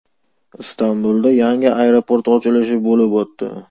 Istanbulda yangi aeroport ochilishi bo‘lib o‘tdi.